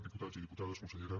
diputats i diputades consellera